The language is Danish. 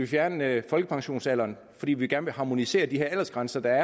fjerne folkepensionsalderen fordi vi gerne vil harmonisere de aldersgrænser der